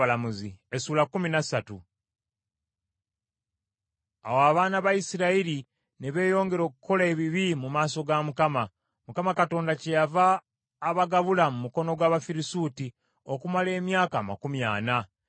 Awo abaana ba Isirayiri ne beeyongera okukola ebibi mu maaso ga Mukama . Mukama kyeyava abagabula mu mukono gw’Abafirisuuti okumala emyaka amakumi ana.